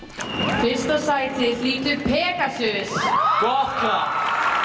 fyrsta sæti hlýtur Pegasus gott klapp